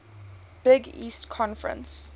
big east conference